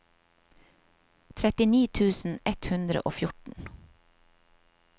trettini tusen ett hundre og fjorten